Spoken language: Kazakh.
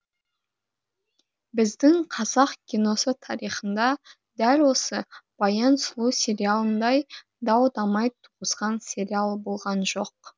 біздің қазақ киносы тарихында дәл осы баян сұлу сериалындай дау дамай туғызған сериал болған жоқ